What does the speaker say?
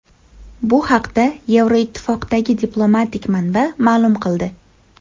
Bu haqda Yevroittifoqdagi diplomatik manba ma’lum qildi.